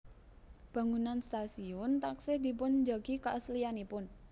Bangunan stasiun taksih dipunjagi keaslianipun